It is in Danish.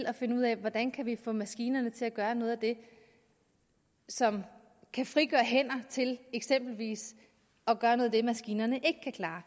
at finde ud af hvordan vi kan få maskinerne til at gøre noget af det som kan frigøre hænder til eksempelvis at gøre noget af det maskinerne ikke kan klare